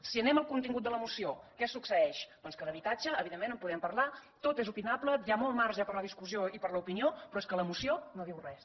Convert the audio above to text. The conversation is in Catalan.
si anem al contingut de la moció què succeeix doncs que d’habitatge evidentment en podem parlar tot és opinable hi ha molt marge per a la discussió i per a l’o pinió però és que la moció no diu res